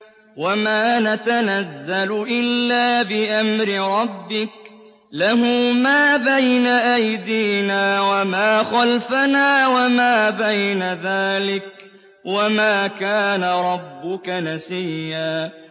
وَمَا نَتَنَزَّلُ إِلَّا بِأَمْرِ رَبِّكَ ۖ لَهُ مَا بَيْنَ أَيْدِينَا وَمَا خَلْفَنَا وَمَا بَيْنَ ذَٰلِكَ ۚ وَمَا كَانَ رَبُّكَ نَسِيًّا